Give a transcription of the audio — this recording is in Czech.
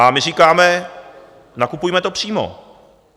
A my říkáme, nakupujeme to přímo.